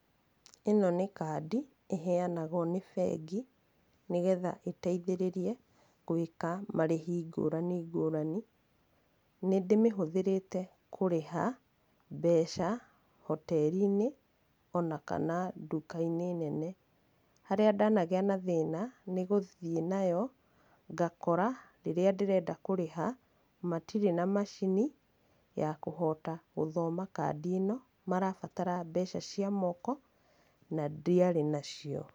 Ĩno nĩ kandi ĩ henyanagwo nĩ bengi nĩgetha ĩteithĩrĩrie gũĩka marĩhi ngũrani ngũrani. Nĩ ndĩmĩhũthĩrĩte kũrĩha mbeca hoteri-inĩ o na kana nduka-inĩ nene. Harĩa ndanagĩa na thĩna nĩgũthiĩ nayo ngakora rĩrĩa ndĩrenda kũrĩha matirĩ na macini ya kũhota gũthoma kandi ĩno marabatara mbeca cia moko na ndiarĩ nacio.